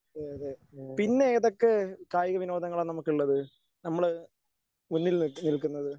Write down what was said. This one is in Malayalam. അതെ അതെ പിന്നെ ഏതൊക്കെ കായികവിനോദങ്ങളാ നമുക്കുള്ളത്? നമ്മള് മുന്നിൽ നിൽക്കുന്നത്?